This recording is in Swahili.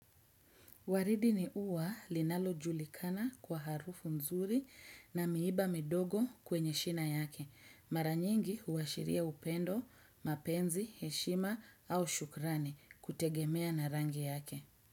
Waridi ni ua linalo julikana kwa harufu nzuri na miiba midogo kwenye shina yake. Maranyingi huashiria upendo, mapenzi, heshima au shukrani kutegemea narangi yake.